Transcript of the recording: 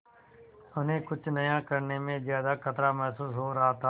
उन्हें कुछ नया करने में ज्यादा खतरा महसूस हो रहा था